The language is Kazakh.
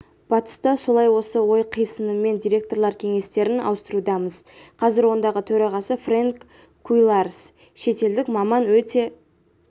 батыста солай осы ой қисынымен директорлар кеңестерін ауыстырудамыз қазір ондағы төрағасы фрэнк куилаарс шетелдік маман өте